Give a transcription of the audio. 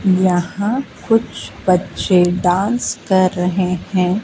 यहां कुछ बच्चे डांस कर रहे हैं।